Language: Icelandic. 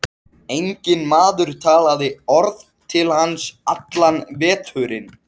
Enginn maður talaði orð til hans allan veturinn.